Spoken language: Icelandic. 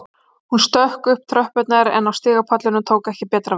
Hún stökk upp tröppurnar en á stigapallinum tók ekki betra við